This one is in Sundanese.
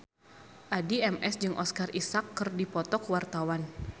Addie MS jeung Oscar Isaac keur dipoto ku wartawan